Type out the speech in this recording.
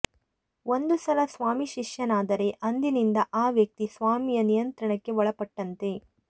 ಒಂದು ಸಲ ಸ್ವಾಮಿ ಶಿಷ್ಯನಾದರೆ ಅಂದಿನಿಂದ ಆ ವ್ಯಕ್ತಿ ಸ್ವಾಮಿಯ ನಿಯಂತ್ರಣಕ್ಕೆ ಒಳಪಟ್ಟಂತೆ